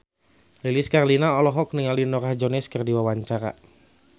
Lilis Karlina olohok ningali Norah Jones keur diwawancara